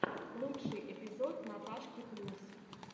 лучший эпизод наташки плюс